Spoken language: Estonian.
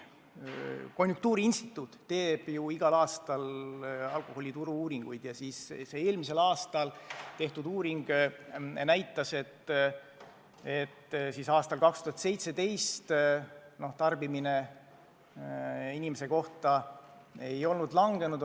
Konjunktuuriinstituut teeb igal aastal alkoholituru uuringuid ja mullu tehtud uuring näitas, et aastal 2017 tarbimine inimese kohta ei olnud vähenenud.